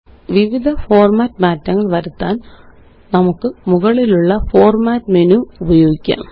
വിവിധ ഫോര്മാറ്റ് മാറ്റങ്ങള് വരുത്താന് നമുക്ക് മുകളിലുള്ള ഫോർമാറ്റ് മെനുഉപയോഗിക്കാം